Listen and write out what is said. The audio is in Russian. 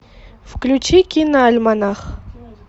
включи киноальманах